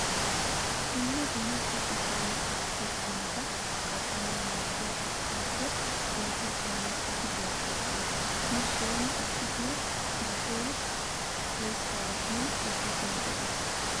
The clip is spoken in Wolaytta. Dumma dumma so giddon kattiyoo qumata kattanwu maaddiyaa urqqaappe osettiyaa miishshati beettiyoosa. Nu soni issitoo bahshee oyttaara humppu giidi meqqi aggis.